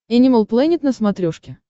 энимал плэнет на смотрешке